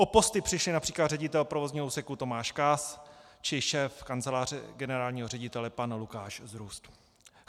O posty přišli například ředitel provozního úseku Tomáš Kaas či šéf kanceláře generálního ředitele pan Lukáš Zrůst.